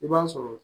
I b'a sɔrɔ